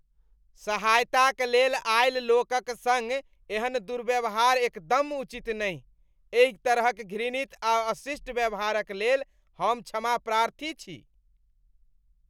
सहायताक लेल आयल लोकक सङ्ग एहन दुर्व्यवहार एकदम उचित नहि, एहि तरहक घृणित आ अशिष्ट व्यवहारक लेल हम क्षमाप्रार्थी छी।